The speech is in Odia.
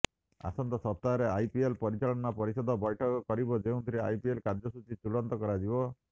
ଆସନ୍ତା ସପ୍ତାହରେ ଆଇପିଏଲ୍ ପରିଚାଳନା ପରିଷଦ ବୈଠକ କରିବ ଯେଉଁଥିରେ ଆଇପିଏଲ୍ କାର୍ଯ୍ୟସୂଚୀ ଚୂଡାନ୍ତ କରାଯିବ